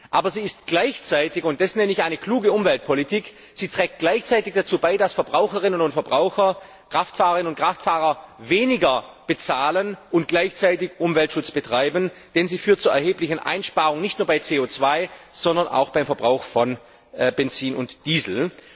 Aber sie trägt gleichzeitig und das nenne ich eine kluge Umweltpolitik dazu bei, dass Verbraucherinnen und Verbraucher, Kraftfahrerinnen und Kraftfahrer weniger bezahlen und gleichzeitig Umweltschutz betreiben, denn sie führt zu erheblichen Einsparungen, nicht nur bei CO 2 sondern auch beim Verbrauch von Benzin und Diesel.